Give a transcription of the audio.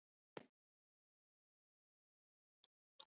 Það er eitthvað að.